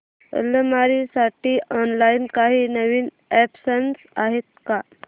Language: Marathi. अलमारी साठी ऑनलाइन काही नवीन ऑप्शन्स आहेत का